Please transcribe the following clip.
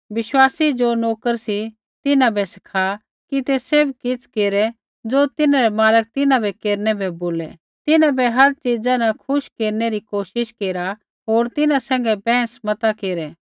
विश्वासी ज़ो नोकर सी तिन्हां बै सिखा कि ते सैभ किछ़ केरै ज़ो तिन्हरै मालक तिन्हां बै केरनै बै बोलै तिन्हां बै हर च़ीजा न खुश केरनै कोशिश केरा होर तिन्हां सैंघै बैंहस न केरै